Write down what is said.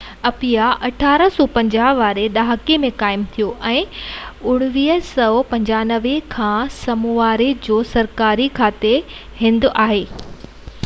Apia 1850 واري ڏهاڪي ۾ قائم ٿيو ۽ 1959 کان سمووا جو سرڪاري گاڌي جو هنڌ آهي